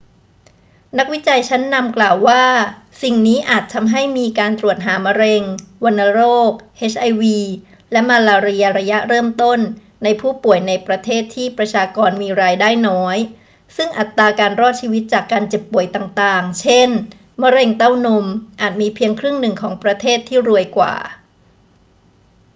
นักวิจัยชั้นนำกล่าวว่าสิ่งนี้อาจทำให้มีการตรวจหามะเร็ง วัณโรค เอชไอวี และมาลาเรียระยะเริ่มต้นในผู้ป่วยในประเทศที่ประชากรมีรายได้น้อย ซึ่งอัตราการรอดชีวิตจากการเจ็บป่วยต่าง ๆ เช่น มะเร็งเต้านม อาจมีเพียงครึ่งหนึ่งของประเทศที่รวยกว่า